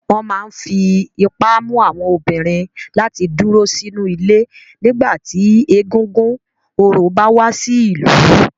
Wọn máa ń fi ipá mú àwọn obìnrin láti dúró sínú ilé nígbà tí egúngún orò bá wá sí ìlú.